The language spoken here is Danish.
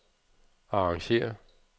arrangér